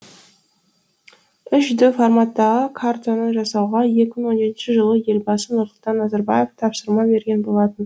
үш д форматтағы картаны жасауға екі мың он жетінші жылы елбасы нұрсұлтан назарбаев тапсырма берген болатын